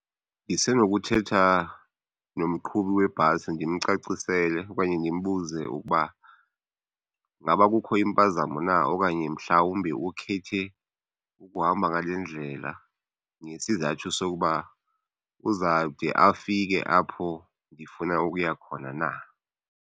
Ndisenokuthetha nomqhubi webhasi ndimcacisele okanye ndimbuze ukuba ngaba kukho impazamo na okanye mhlawumbi ukhethe ukuhamba ngale ndlela ngesizathu sokuba uzawude afike apho ndifuna ukuya khona na.